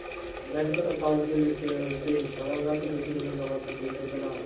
bank account ਦੇ ਵਿੱਚ ਭੇਜ਼ ਦਵਾਂਗਾ ਤੇ ਤੁਸੀਂ ਮੈਨੂੰ ਨਵਾਂ computer ਬਣਾ ਦੋ.